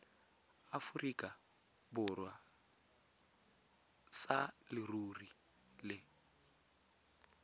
aforika borwa sa leruri le